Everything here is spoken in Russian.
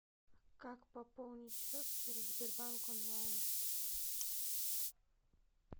как пополнить счет через сбербанк онлайн